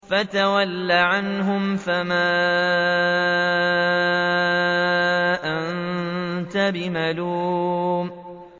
فَتَوَلَّ عَنْهُمْ فَمَا أَنتَ بِمَلُومٍ